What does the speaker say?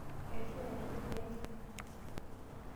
Eishunyate kule engiteng.